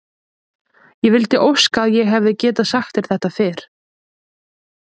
Ég vildi óska að ég hefði getað sagt þér þetta fyrr.